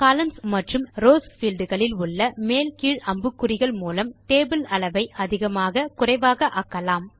columns and rows field களில் உள்ள மேல் கீழ் அம்புக்குறிகள் மூலம் டேபிள் இன் அளவை அதிகமாக குறைவாக ஆக்கலாம்